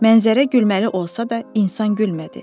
Mənzərələrə gülməli olsa da, insan gülmədi.